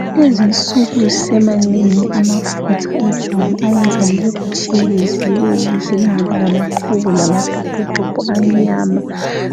Kulezinsuku semaningi amafutha ejwabu ayenza libe kutshelezi libe lihle lingabilamaqhubu lamatopotopo amnyama